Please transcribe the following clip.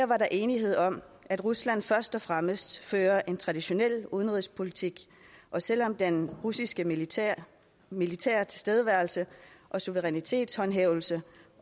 var der enighed om at rusland først og fremmest fører en traditionel udenrigspolitik og selv om den russiske militære militære tilstedeværelse og suverænitetshåndhævelse